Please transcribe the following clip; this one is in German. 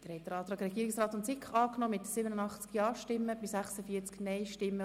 Der Rat hat dem Antrag Regierungsrat/SiK den Vorzug gegeben.